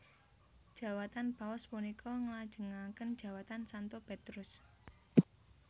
Jawatan Paus punika nglajengaken jawatan Santo Petrus